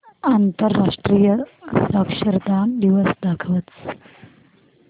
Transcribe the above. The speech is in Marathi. आंतरराष्ट्रीय साक्षरता दिवस दाखवच